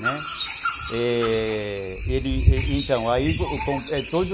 Né, é... Ele... então, todo